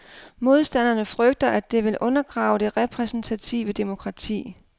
Modstanderne frygter, at det vil undergrave det repræsentative demokrati.